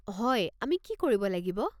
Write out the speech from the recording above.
হয়, আমি কৰিব লাগিব।